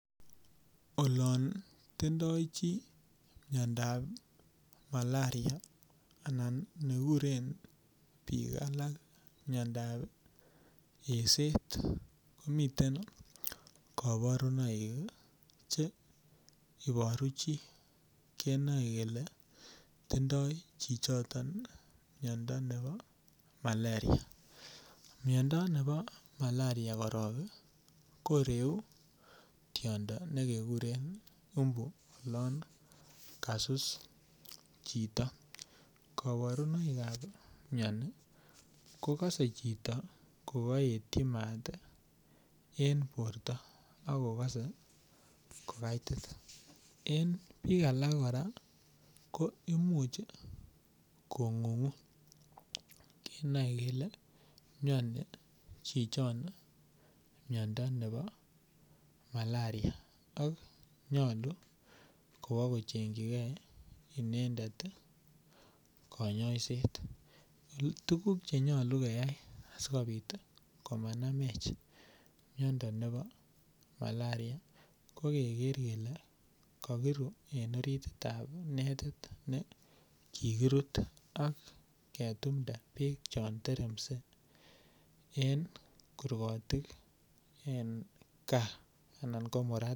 Ololon tindoi chi miandab maleria anan neguren biik alak miandab eset komiten kabarunoik che ibaru chi kenoe kele tindoi chichiton miondo nebo makeria. Miondo nebo maleria korok ko reu tiondo ne keguren umbu, olan kasus chito. Kabarunoikab miani ko kase chito ko kaetyi mat en borto ak kogase ko kaitit. En biik alak kora ko imuch kongungu kenoe kele miani chichon miondo nebo malaria ak nyalu kowakochengchike inendet konyoiset. Tuguk che nyalu keyai asigopit komanamech miondo nebo maleria ko kekerer kele kakiru en orititab netit ne kikirut ak ketumnde beek chon teremse en korgotik en kaa anan ko murat